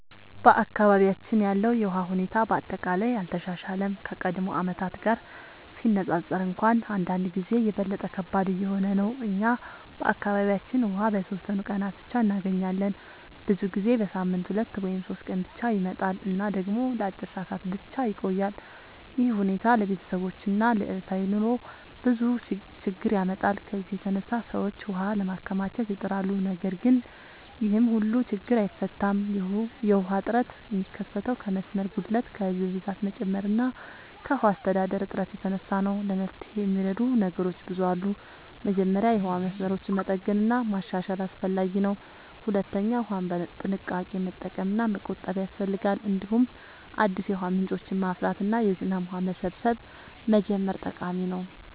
በአካባቢያችን ያለው የውሃ ሁኔታ በአጠቃላይ አልተሻሻለም፤ ከቀድሞ ዓመታት ጋር ሲነፃፀር እንኳን አንዳንድ ጊዜ የበለጠ ከባድ እየሆነ ነው። እኛ በአካባቢያችን ውሃ በተወሰኑ ቀናት ብቻ እንገኛለን፤ ብዙ ጊዜ በሳምንት 2 ወይም 3 ቀን ብቻ ይመጣል እና ደግሞ ለአጭር ሰዓታት ብቻ ይቆያል። ይህ ሁኔታ ለቤተሰቦች እና ለዕለታዊ ኑሮ ብዙ ችግኝ ያመጣል። ከዚህ የተነሳ ሰዎች ውሃ ለማከማቸት ይጥራሉ፣ ነገር ግን ይህም ሁሉን ችግኝ አይፈታም። የውሃ እጥረት የሚከሰተው ከመስመር ጉድለት፣ ከህዝብ ብዛት መጨመር እና ከውሃ አስተዳደር እጥረት የተነሳ ነው። ለመፍትሄ የሚረዱ ነገሮች ብዙ አሉ። መጀመሪያ የውሃ መስመሮችን መጠገን እና ማሻሻል አስፈላጊ ነው። ሁለተኛ ውሃን በጥንቃቄ መጠቀም እና መቆጠብ ያስፈልጋል። እንዲሁም አዲስ የውሃ ምንጮችን ማፍራት እና የዝናብ ውሃ መሰብሰብ መጀመር ጠቃሚ ነው።